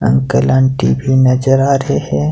Uncle aunty भी नजर आ रहे हैं।